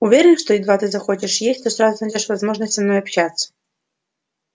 уверен что едва ты захочешь есть то сразу найдёшь возможность со мной общаться